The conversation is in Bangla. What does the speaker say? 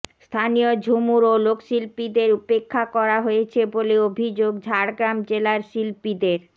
স্থানীয় ঝুমুর ও লোক শিল্পীদের উপেক্ষা করা হয়েছে বলে অভিযোগ ঝাড়গ্রাম জেলার শিল্পীদের